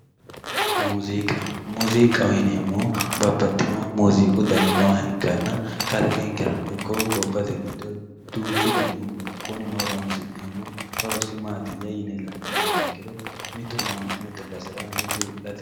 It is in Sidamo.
Muziiqa muziiqaho yineemmohu babbaxxino dani nooha ikkanna kalqenkerano gobbate giddo duuchu danihu no kunino horonsi'neemmo horosi maatiya yine la'neemmoha ikkiro mitu ama'note basera mitu wi'late basera.